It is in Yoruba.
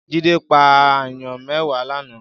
Jide pá àáyàn mèwá làná